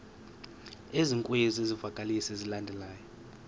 ezikwezi zivakalisi zilandelayo